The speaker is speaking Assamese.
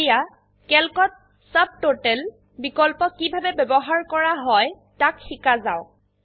এতিয়া ক্যালকত চুবততাল বিকল্প কিভাবে ব্যবহাৰ কৰা হয় তাক শিকা যাওক